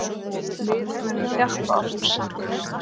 Við munum þjappa okkur saman.